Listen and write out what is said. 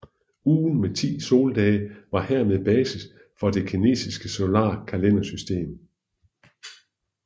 Ugen med 10 soldage var hermed basis for det kinesiske solare kalendersystem